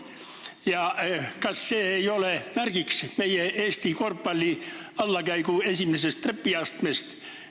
Kas see ei ole märk Eesti korvpalli allakäigu esimesest trepiastmest?